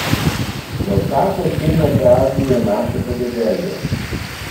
Za vsako ceno praznijo naše podeželje!